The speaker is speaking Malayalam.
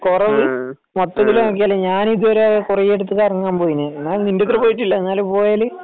കൊറവ് ഞാൻ ഇതുപോലെ കൊറേയിടത്തു കറങ്ങാൻ പോയിന് എല്ലാടത്തും പോയിട്ടില്ല എന്നാലും പോയേല്